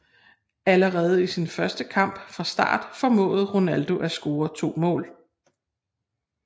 Allerede i sin første kamp fra start formåede Ronaldo at score to mål